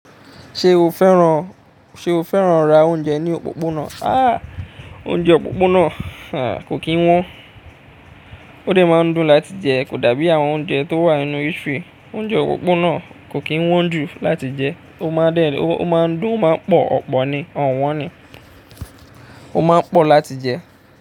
Ṣé o fẹ́ràn, ṣe o fẹ́ràn ra oúnjẹ ní òpópónà? Há! Oúnjẹ òpópónà kò kín wọ́n. Ó dẹ̀ máa ń dùn láti jẹ kò dàbí àwọn oúnjẹ tó wà nínú eatery. Oúnjẹ òpópónà kò kín wọ́n jù láti jẹ, ó máa ń dùn máa ń pọ̀, ọ̀pọ̀ ni, ọ̀wọ́n ni. Ó máa ń pọ̀ láti jẹ.